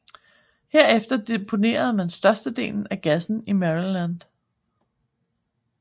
Herefter deponerede man størstedelen af gassen i Maryland